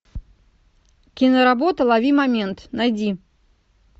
киноработа лови момент найди